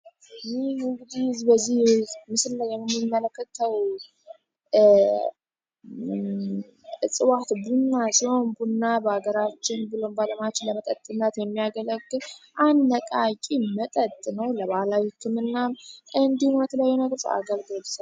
ይህ እግዲህ በዚህ ምስል ለየንሚመለከተው እጽዋት ቡና ሲሆን ቡና በሀገራችን ብሎም ባለማች ለመጠጥናት የሚያገለግ አንድነቃቂ መጠጥ ነው ለባህላዊቱም ናም እንዲህ ሁነት ላይ ነቅጽ አገልግሏል።